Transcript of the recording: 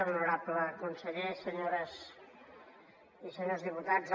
honorable conseller senyores i senyors diputats